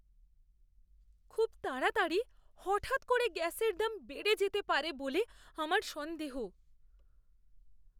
খুব তাড়াতাড়ি হঠাৎ করে গ্যাসের দাম বেড়ে যেতে পারে বলে আমার সন্দেহ।